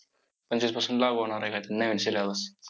पंचवीसपासून लागू होणार आहे काय तरी नवीन syllabus.